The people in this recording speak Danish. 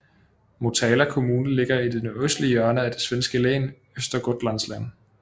Motala kommune ligger i det nordøstlige hjørne af det svenske län Östergötlands län